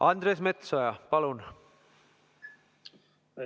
Andres Metsoja, palun!